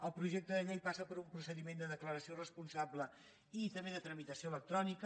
el projecte de llei passa per un procediment de declaració responsable i també de tramitació electrònica